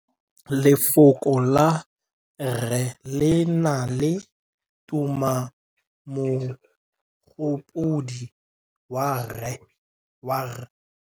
Lefoko la rre, le na le tumammogôpedi ya, r.